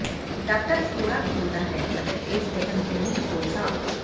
doctor ਫੋੜਾ ਖੋਲਦਾ ਹੈ ਅਤੇ ਇਸ ਦੇ ਅੰਦਰੂਨੀ ਖੋਲ ਸਾਫ